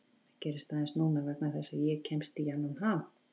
Það gerist aðeins núna vegna þess að ég kemst í annan ham.